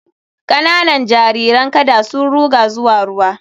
Kananan jariran kada sun ruga zuwa ruwa